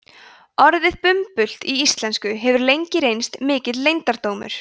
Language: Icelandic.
orðið bumbult í íslensku hefur lengi reynst mikill leyndardómur